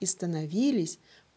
и становились